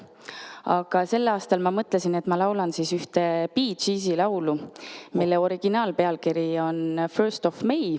Aga sel aastal ma mõtlesin, et ma laulan ühte Bee Geesi laulu, mille originaalpealkiri on "First of May".